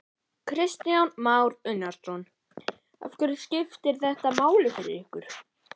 Kristján Már Unnarsson: Af hverju skiptir þetta máli fyrir ykkur?